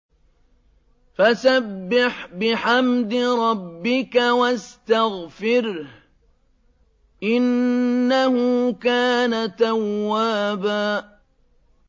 فَسَبِّحْ بِحَمْدِ رَبِّكَ وَاسْتَغْفِرْهُ ۚ إِنَّهُ كَانَ تَوَّابًا